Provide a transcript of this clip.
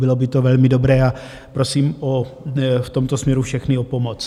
Bylo by to velmi dobré a prosím v tomto směru všechny o pomoc.